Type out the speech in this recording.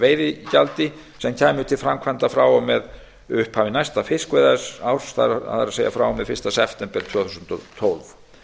veiðigjaldi sem kæmi til framkvæmda frá og með upphafi næsta fiskveiðiárs það er frá og með fyrsta september tvö þúsund og tólf